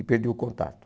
E perdi o contato.